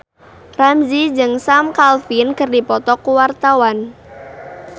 Ramzy jeung Sam Claflin keur dipoto ku wartawan